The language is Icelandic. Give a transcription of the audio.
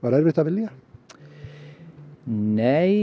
erfitt að velja nei